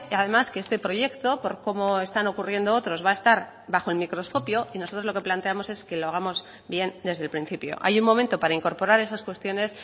además que este proyecto por cómo están ocurriendo otros va a estar bajo el microscopio y nosotros lo que planteamos es que lo hagamos bien desde el principio hay un momento para incorporar esas cuestiones